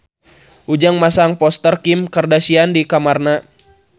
Ujang masang poster Kim Kardashian di kamarna